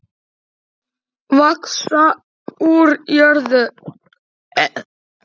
Vaxa úr jörðu.